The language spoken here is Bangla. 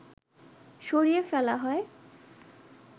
সরিয়ে ফেলা হয়